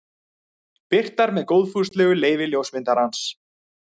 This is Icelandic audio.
Birtar með góðfúslegu leyfi ljósmyndarans.